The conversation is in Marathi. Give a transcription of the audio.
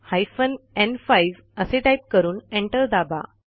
हायफेन न्5 असे टाईप करून एंटर दाबा